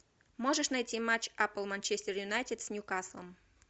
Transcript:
можешь найти матч апл манчестер юнайтед с ньюкаслом